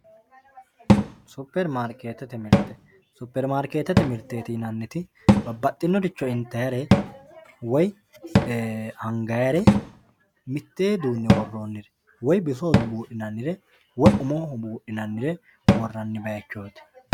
Super maariketete mirte, super maariketete miriteti yinaniti babaxinoricho intayirr woyi angayire mitee duu'ne woronire woyi bisoho buuxdhinanire woyi umoho buudhinanire woranni bayichoti